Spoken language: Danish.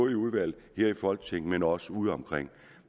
i udvalg her i folketinget men også udeomkring